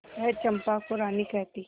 वह चंपा को रानी कहती